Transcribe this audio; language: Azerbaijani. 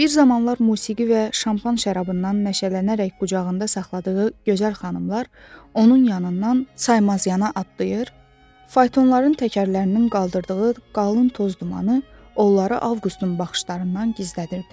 Bir zamanlar musiqi və şampan şərabından məşələnərək qucağında saxladığı gözəl xanımlar onun yanından saymaz yana atlayır, faytonların təkərlərinin qaldırdığı qalın toz dumanı onları Avqustun baxışlarından gizlədirdi.